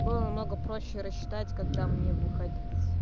было на много проще рассчитать когда мне выходить